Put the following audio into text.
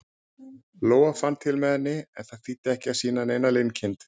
Lóa fann til með henni, en það þýddi ekki að sýna neina linkind.